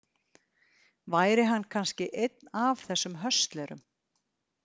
Væri hann kannski einn af þessum höstlerum?